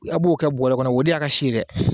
A b'o kɛ bɔɔrɔ kɔnɔ o de y'a ka si ye dɛ.